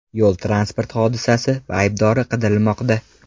Yo‘l-transport hodisasi aybdori qidirilmoqda.